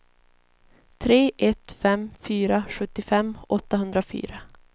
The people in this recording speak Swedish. tre ett fem fyra sjuttiofem åttahundrafyra